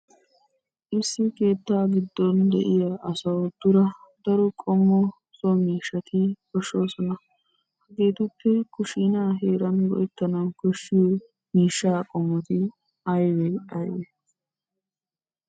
Issi keettaa giddon de'iya asawu dura daro qommo so miishshati koshshosona. Hegeetuppe kushshiinaa heeran go'ettana koshshiyo miishshaa qommoti ayibee ayibee?